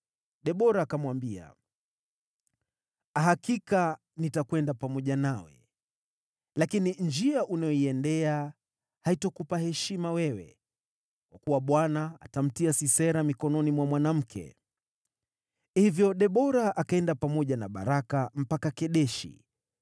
Debora akamwambia, “Hakika nitakwenda pamoja nawe, lakini njia unayoiendea haitakupa heshima wewe, kwa kuwa Bwana atamtia Sisera mikononi mwa mwanamke.” Hivyo Debora akaenda pamoja na Baraka mpaka Kedeshi,